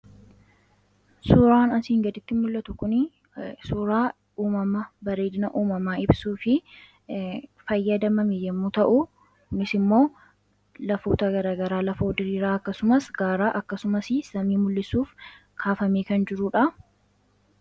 suuraan asiin gaditti mul'atu kun suuraa uumama bareedina uumamaa ibsuu fi fayyadamame yommuu ta'u, innis immoo lafoota gaagaraa lafoo diriiraa akkasumas gaaraa akkasumas samii mul'isuuf kaafamee kan jiruudha.